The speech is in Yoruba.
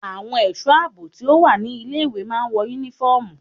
Àwọn ẹ̀sọ́ àbò tí ó wà ní ilé ìwé máa ń wọ yúnífọ́ọ̀mù.